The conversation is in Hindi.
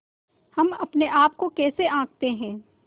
हम अपने आप को कैसे आँकते हैं